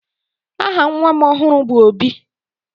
aha nwa m ọhụrụ bu Obi